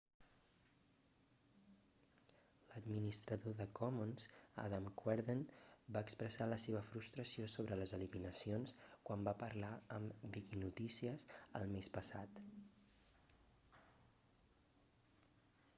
l'administrador de commons adam cuerden va expressar la seva frustració sobre les eliminacions quan va parlar amb viquinotícies el mes passat